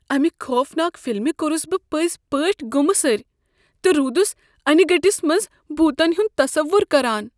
امہ خوفناک فلمہ كورٗس بہٕ پٕزۍپٲٹھۍ گٗمہٕ سٕرۍ تہٕ رودس انیہِ گٕٹس منز بوتن ہنٛد تصور کران۔